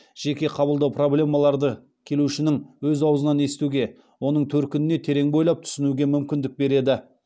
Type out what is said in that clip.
жеке қабылдау проблемаларды келушінің өз ауызынан естуге оның төркініне терең бойлап түсінуге мүмкіндік береді